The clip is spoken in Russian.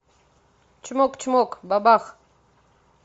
чмок чмок бабах